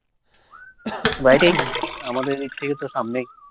বাইরেই। আমাদের এইদিক থেকে তো সামনেই।